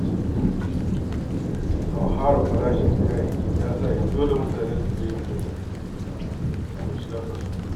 Hauhawar farashin kayayyaki ya sanya dole mutane yanzu ke yin bajet kafin shiga kasuwa.